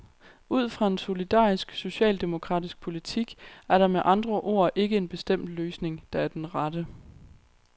Ud fra en solidarisk, socialdemokratisk politik er der med andre ord ikke en bestemt løsning, der er den rette.